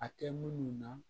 A tɛ munnu na